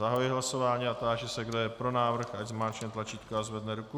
Zahajuji hlasování a táži se, kdo je pro návrh, ať zmáčkne tlačítko a zvedne ruku.